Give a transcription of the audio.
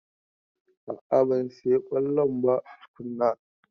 A'a ban saya kollon ba tukuna.